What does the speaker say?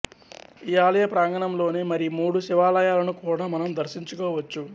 ఈ ఆలయ ప్రాంగణం లోనే మరి మూడు శివాలయాలను కూడా మనం దర్శించుకోవచ్చు